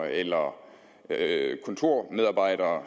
eller kontormedarbejdere